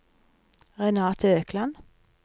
Renate Økland